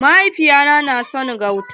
Mahaifiya ta na son shan gauta.